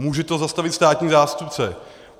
Může to zastavit státní zástupce.